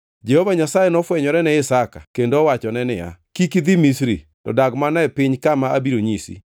Jehova Nyasaye nofwenyore ni Isaka kendo owachone niya, “Kik idhi Misri; to dag mana e piny kama abiro nyisi.